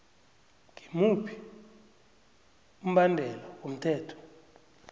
ngimuphi umbandela womthetho